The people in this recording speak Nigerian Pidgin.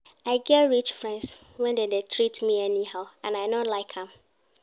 I get rich friends wey dey treat me anyhow and I no like am.